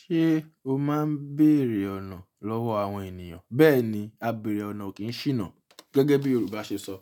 Ṣé o máa ń bèèrè ọ̀nà lọ́wọ́ àwọn ènìyàn? Bẹ́ẹ̀ni, a bèèrè ọ̀nà o kì í ṣìnà gẹ́gẹ́ bí Yorùbá ṣe sọ.